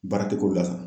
Baaratigi ko dafa